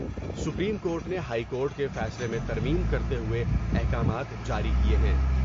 Supreme court نے high court کے فیصلے میں ترمیم کرتے ہوۓ احکامات جاری کئے ہیں ۔